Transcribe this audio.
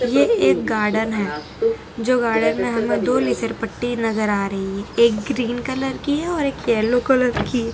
ये एक गार्डन है जो गार्डन में हमे दो लेजर पट्टी नज़र आ रही है एक ग्रीन कलर की है और एक येलो कलर की--